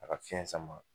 A ka fiɲɛ sama